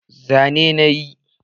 Zane na yi